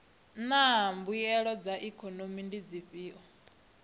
naa mbuelo dza ikhomese ndi dzifhio